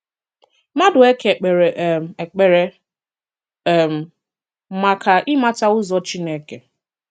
Madueke k̀pèrè um èkpèrè um maka ị̀màtà̀ ụzọ̀ Chineke.